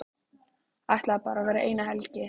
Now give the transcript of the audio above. Ætlaði bara að vera eina helgi.